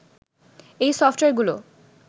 এই সফটওয়্যারগুলো